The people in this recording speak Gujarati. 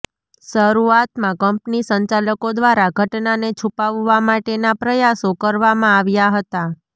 શરૂઆતમાં કંપની સંચાલકો દ્વારા ઘટનાને છુપાવવા માટેના પ્રયાસો કરવામાં આવ્યા હતા